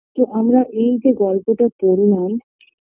তো আমরা এই যে গল্পটা পড়লাম